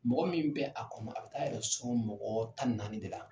Mɔgɔ min bɛ a kɔnɔ a bɛ taa a yɛrɛ sɔrɔ mɔgɔ tan ni naani de la.